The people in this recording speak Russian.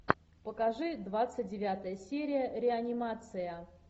покажи двадцать девятая серия реанимация